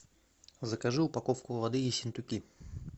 закажи упаковку воды ессентуки